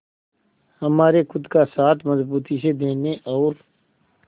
हमारे खुद का साथ मजबूती से देने और